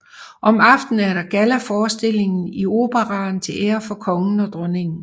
Om aftenen er der gallaforestilling i Operaen til ære for kongen og dronningen